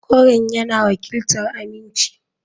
Koren yana wakiltar aminci.